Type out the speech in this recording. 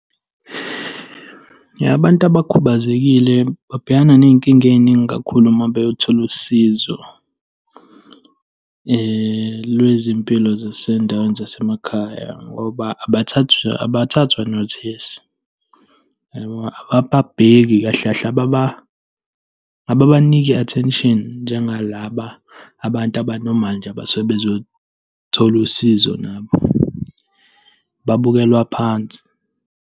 Abantu abakhubazekile babhekana ney'nkinga ey'ningi kakhulu uma beyothola usizo lwezempilo zasendaweni zasemakhaya ngoba abathathwa notice, yabo. Ababheki kahle kahle, ababaniki i-attention njengalaba abantu aba-normal nje abasuke bezothola usizo nabo. Babukelwa phansi.